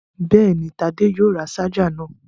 Bẹ́ẹ̀ni, Tádé yóò ra ṣáájà náà.